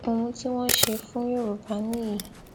ohun tí wọn ṣe fún yorùbá nìyí